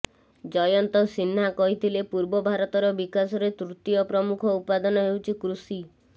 ଜୟନ୍ତ ସିହ୍ନା କହିଥିଲେ ପୂର୍ବ ଭାରତର ବିକାଶରେ ତୃତୀୟ ପ୍ରମୁଖ ଉପାଦାନ ହେଉଛି କୃଷି